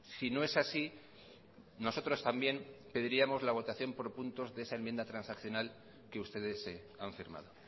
si no es así nosotros también pediríamos la votación por puntos de esa enmienda transaccional que ustedes han firmado